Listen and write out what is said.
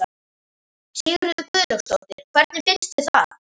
Sigríður Guðlaugsdóttir: Hvernig finnst þér það?